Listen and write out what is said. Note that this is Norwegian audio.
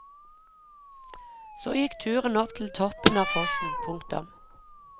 Så gikk turen opp til toppen av fossen. punktum